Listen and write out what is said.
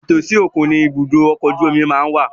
Ìtòsí òkun ni ìbúdókọ̀ ọkọ̀ ojú omi má ń wà